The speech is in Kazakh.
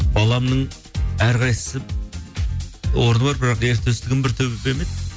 баламның әрқайсысы орны бар бірақ ертөстігім бір төбе ме еді